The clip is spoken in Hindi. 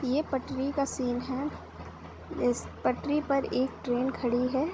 ये पटरी का सिन है। इस पटरी पर एक ट्रेन खड़ी है।